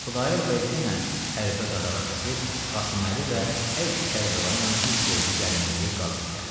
Xudayar bəy yenə hərbə-qadağa kəsib, Qasıməli və hər iki Kərbəlayla üz qoydu gəlməyə deyə qaziyə.